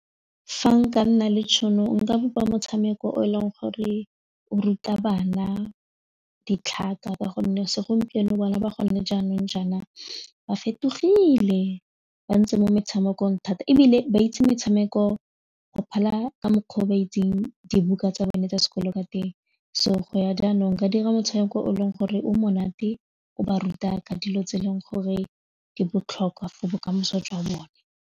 Fa nka nna le tšhono nka bopa motshameko o e leng gore o ruta bana ditlhaka ka gonne segompieno bana ba gone jaanong jaana ba fetogile ba ntse mo metshamekong thata ebile ba itse metshameko go phala ka mokgwa o ba itseng dibuka tsa bone tsa sekolo ka teng, so go ya jaanong ka dira motshameko o leng gore o monate o ba ruta ka dilo tse e leng gore di botlhokwa for bokamoso jwa bone.